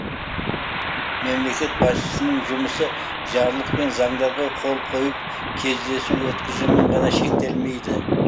мемлекет басшысының жұмысы жарлық пен заңдарға қол қойып кездесу өткізумен ғана шектелмейді